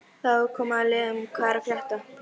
Þá er komið að liðnum Hvað er að frétta?